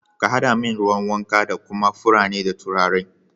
ka haɗa min ruwan wanka da kuma furanni da turare.